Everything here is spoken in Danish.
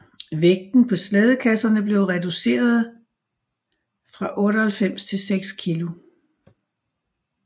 Vægten på slædekasserne blev reducerede fra 98 til 6 kg